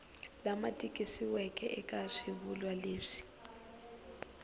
lama tikisiweke eka swivulwa leswi